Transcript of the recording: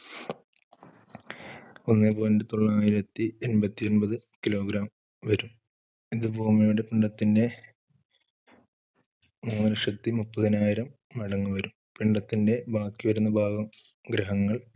ഒന്നേ point തൊള്ളായിരത്തി എൺ പത്തിഒൻപത് kilogram വരും ഇതു ഭൂമിയുടെ പിണ്ഡത്തിന്റെ മൂന്നുലക്ഷത്തിമുപ്പതിനായിരം മടങ്ങ് വരും. പിണ്ഡത്തിന്റെ ബാക്കിവരുന്ന ഭാഗം ഗ്രഹങ്ങൾ,